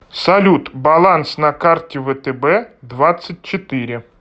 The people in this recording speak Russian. салют баланс на карте втб двадцать четыре